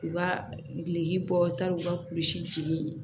U ka gileki bɔ ta u ka kulisili